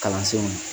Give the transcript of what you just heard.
Kalansenw